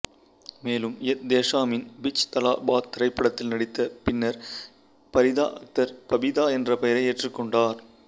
மேலும் எத்தேஷாமின் பிட்ச் தலா பாத் திரைப்படத்தில் நடித்த பின்னர் பரிதா அக்தர் பபிதா என்ற பெயரை ஏற்றுக்கொண்டார்